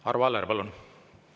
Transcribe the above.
Arvo Aller, palun!